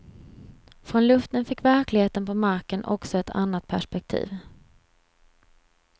Från luften fick verkligheten på marken också ett annat perspektiv.